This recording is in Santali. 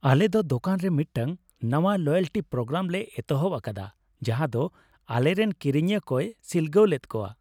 ᱟᱞᱮ ᱫᱚ ᱫᱳᱠᱟᱱ ᱨᱮ ᱢᱤᱫᱴᱟᱝ ᱱᱟᱶᱟ ᱞᱚᱭᱮᱞᱴᱤ ᱯᱨᱳᱜᱨᱟᱢ ᱞᱮ ᱮᱛᱚᱦᱚᱵ ᱟᱠᱟᱫᱟ ᱡᱟᱦᱟᱸ ᱫᱚ ᱟᱞᱮᱨᱮᱱ ᱠᱤᱨᱤᱧᱤᱭᱟᱹ ᱠᱚᱭ ᱥᱤᱞᱜᱟᱹᱣ ᱞᱮᱫ ᱠᱚᱣᱟ ᱾